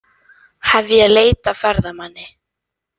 Hefja leit að ferðamanni